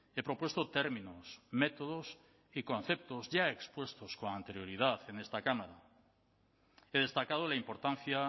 he propuesto términos métodos y conceptos ya expuestos con anterioridad en esta cámara he destacado la importancia